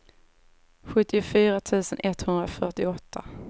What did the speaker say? sjuttiofyra tusen etthundrafyrtioåtta